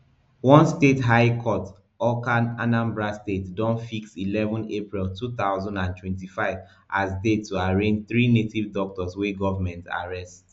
one state high court awka anambra state don fix eleven april two thousand and twenty-five as date to arraign three native doctors wey government arrest